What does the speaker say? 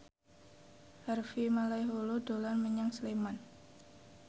Harvey Malaiholo dolan menyang Sleman